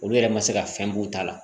Olu yɛrɛ ma se ka fɛn b'u ta la